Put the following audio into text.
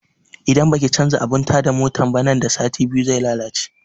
Idan baki canza abun ta da motan nan da sati biyu ba zai lalace